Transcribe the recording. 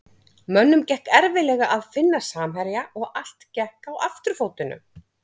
Mönnum gekk erfiðlega að finna samherja og allt gekk á afturfótunum.